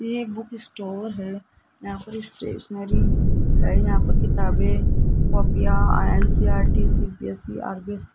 ये book store है यहां पर स्टेशनरी है यहां पर किताबें कॉपीया एन_सी_ई_आर_टी सी_बी_एस_ई आर_बी_सी --